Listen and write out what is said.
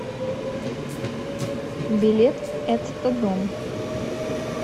билет этто дом